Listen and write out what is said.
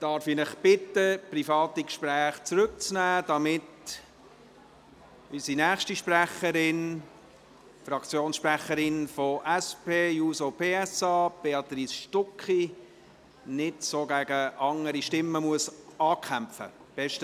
Darf ich Sie bitten, private Gespräche leiser zu führen, damit unsere nächste Sprecherin, die Fraktionssprecherin der SP-JUSO-PSA, Béatrice Stucki, nicht gegen andere Stimmen ankämpfen muss?